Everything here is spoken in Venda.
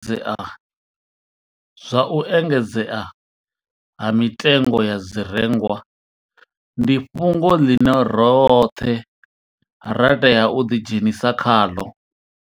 Zwa u engedzea ha mitengo ya zwirengwa ndi fhungo ḽine roṱhe ra tea u ḓidzhenisa khaḽo.